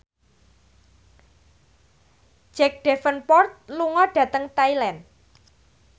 Jack Davenport lunga dhateng Thailand